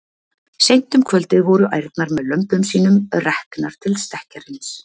Seint um kvöldið voru ærnar með lömbum sínum reknar til stekkjarins.